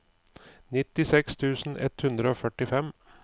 nittiseks tusen ett hundre og førtifem